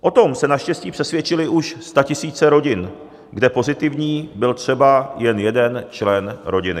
O tom se naštěstí přesvědčily už statisíce rodin, kde pozitivní byl třeba jen jeden člen rodiny.